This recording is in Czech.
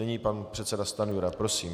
Nyní pan předseda Stanjura, prosím.